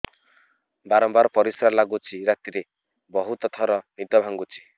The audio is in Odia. ବାରମ୍ବାର ପରିଶ୍ରା ଲାଗୁଚି ରାତିରେ ବହୁତ ଥର ନିଦ ଭାଙ୍ଗୁଛି